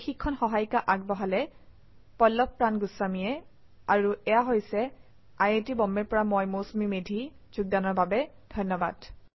এই শিক্ষণ সহায়িকা আগবঢ়ালে পল্লভ প্ৰান গুস্বামীয়ে আই আই টী বম্বে ৰ পৰা মই মৌচুমী মেধী এতিয়া আপুনাৰ পৰা বিদায় লৈছো যোগদানৰ বাবে ধন্যবাদ